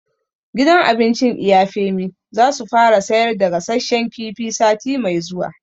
Gidan abincin Iya Femi za su fara sayar da gasashen kifi sati mai zuwa